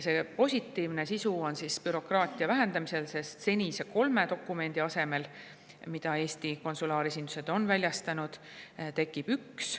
Positiivne sisu seisneb bürokraatia vähendamises, sest senise kolme dokumendi asemel, mida Eesti konsulaaresindused on väljastanud, saab väljastada ühe.